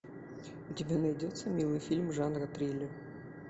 у тебя найдется милый фильм жанра триллер